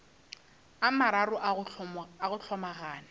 a mararo a go hlomagana